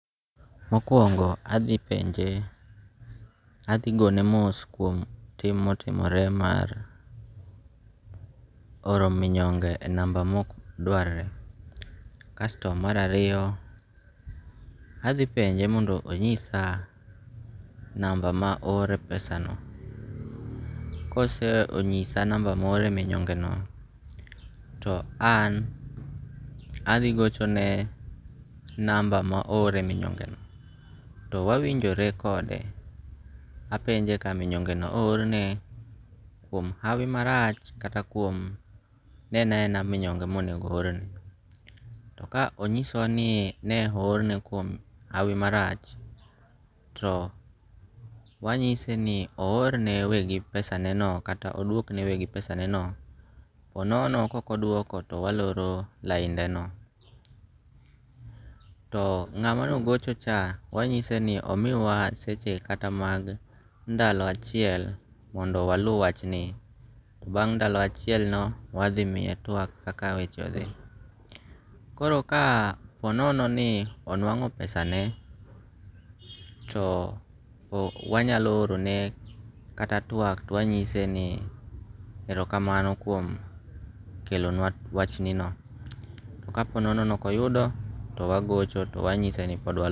Mokwongo adhi penje adhi gone mos kuom tim motimore mar oro minyonge e namba mok dwar re. Kasto mar ariyo, adhi penje mondo onyisa namba ma ore pesano. Kosenyisa namba moore minyonge no to an adhi gochone namba ma ore minyonge no to wawinjore kode apenje ka minyonge no o or ne kuom hawi marach kata ne en a ena minyonge monengo o or ne. To ka onyisowa ni ne o or ne kuom hawi marach to wanyise ni o or ne wegi pesane no kata odwok ne wegi pesane no. Po nono kok odwoko to waloro laindeno. To ng'ama no gocho cha wanyise ni omiwa seche kata mag ndalo achiel mondo walu wach ni. To bang' ndalo achiel no wadhi miye twak kaka weche odhi. Koro ka po nono ni onwango pesane to wanyalo oro ne kata twak to wanyise ni erokamano kuom kelonwa wach ni no. Ka po nono ni ok oyudo to wagocho to wanyise ni pod